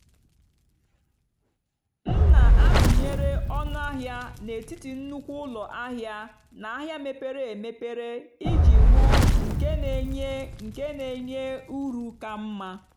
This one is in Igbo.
m nà-àtụ́nyeré ónú àhịá n'étìtì nnùkwú ụ́lọ àhịá nà àhịá mépérè émépérè ìjì hụ́ nkè nà-ènyé nkè nà-ènyé ùrù kà mmá.